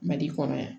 Mali kɔnɔ yan